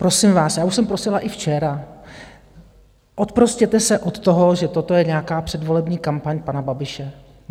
Prosím vás, já už jsem prosila i včera, oprostěte se od toho, že toto je nějaká předvolební kampaň pana Babiše.